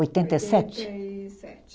Oitenta e sete? Oitenta e sete